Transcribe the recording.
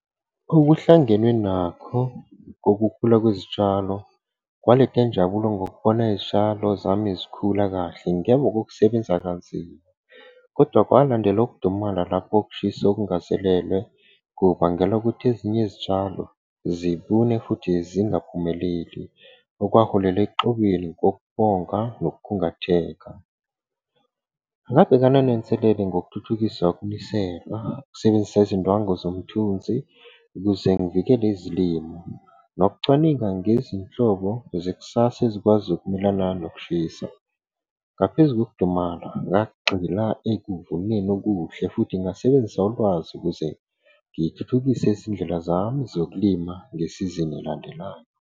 Okuhlangene nakho kokukhula kwezitshalo, kwaletha injabulo ngokubona izitshalo zami zikhula kahle ngemva kanzima. Kodwa kwalandela ukudumala lapho ukushisa okungazelele kubangela ukuthi ezinye izitshalo zibune, futhi zingaphumeleli okwaholela nokukhungatheka. Ngabhekana nenselelo ngokuthuthukisa ukunisela, ukusebenzisa izindwangu zomthunzi ukuze ngivikele izilimo, nokucwaninga ngezinhlobo zekusasa ezikwazi ukumelana nokushisa. Ngaphezu kokudumala, ngagxila ekuvuneni okuhle futhi ngasebenzisa ulwazi ukuze ngithuthukise izindlela zami zokulima ngesizini elandelayo.